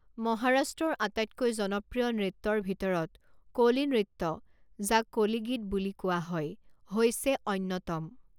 মহাৰাষ্ট্ৰৰ আটাইতকৈ জনপ্ৰিয় নৃত্যৰ ভিতৰত কোলি নৃত্য যাক কোলিগীত বুলি কোৱা হয় হৈছে অন্যতম।